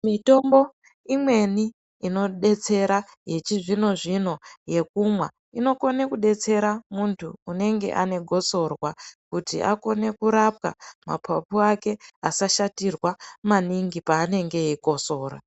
Mitombo imweni inodetsera yechizvino-zvino yekumwa inokone kudetsera muntu unenge ane gosorwa kuti akone kurapwa mapapu ake asashatirwa maningi panenge eikosora.